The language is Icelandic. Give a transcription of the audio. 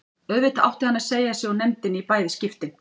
Auðvitað átti hann að segja sig úr nefndinni í bæði skiptin.